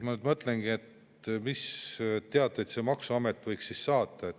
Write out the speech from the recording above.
Ma mõtlen, et mis teateid maksuamet võiks saata.